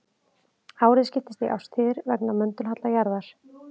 Árið skiptist í árstíðir vegna möndulhalla jarðar.